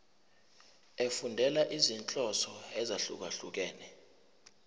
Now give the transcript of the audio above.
efundela izinhloso ezahlukehlukene